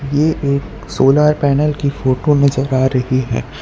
यह एक solar panel की फोटो नजर आ रही है।